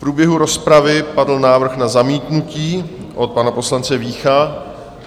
V průběhu rozpravy padl návrh na zamítnutí od pana poslance Vícha.